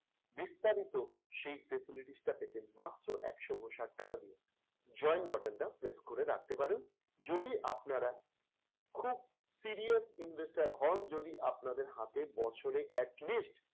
বিস্তারিত সেই facilities টা পেতেন মাত্র একশো উনষাট টাকা দিয়ে। join button টা press করে রাখতে পারেন যদি আপনারা খুব serious investor হন, যদি আপনাদের হাতে বছরে atleast